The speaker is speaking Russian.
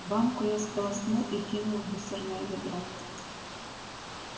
банку я сполоснул и кинул в мусорное ведро